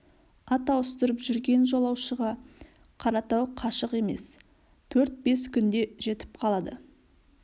ат ауыстырып жүрген жолаушыға қаратау қашық емес төрт бес күнде жетіп қалады